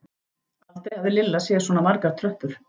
Aldrei hafði Lilla séð svona margar tröppur.